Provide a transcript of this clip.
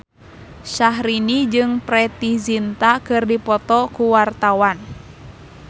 Syahrini jeung Preity Zinta keur dipoto ku wartawan